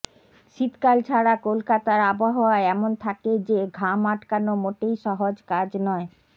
শীতকাল ছাড়া কলকাতার আবহাওয়া এমন থাকে যে ঘাম আটকানো মোটেই সহজ কাজ নয়